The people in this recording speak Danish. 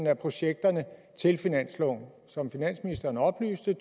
af projekterne til finansloven som finansministeren oplyste